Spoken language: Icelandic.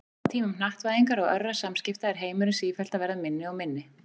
Á tímum hnattvæðingar og örra samskipta er heimurinn sífellt að verða minni og minni.